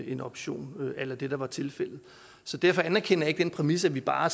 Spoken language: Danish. en option a la det der var tilfældet så derfor anerkender jeg ikke den præmis at vi bare